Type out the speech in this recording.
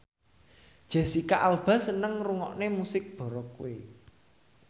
Jesicca Alba seneng ngrungokne musik baroque